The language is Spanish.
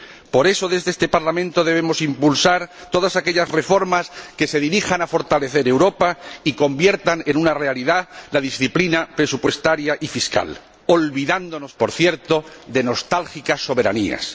Por eso, desde este Parlamento debemos impulsar todas aquellas reformas que se dirijan a fortalecer Europa y conviertan en una realidad la disciplina presupuestaria y fiscal, olvidándonos, por cierto, de nostálgicas soberanías.